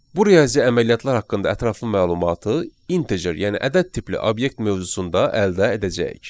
Bu riyazi əməliyyatlar haqqında ətraflı məlumatı integer, yəni ədəd tipli obyekt mövzusunda əldə edəcəyik.